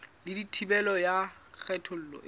le thibelo ya kgethollo e